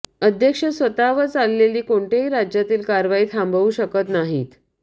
अध्यक्ष स्वतःवर चाललेली कोणत्याही राज्यातील कारवाई थांबवू शकत नाहीत